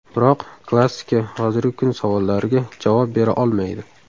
Biroq klassika hozirgi kun savollariga javob bera olmaydi.